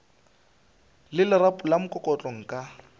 le lerapo la mokokotlo nka